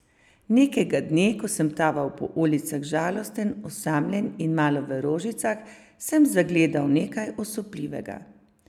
Nekega dne, ko sem taval po ulicah žalosten, osamljen in malo v rožicah, sem zagledal nekaj osupljivega.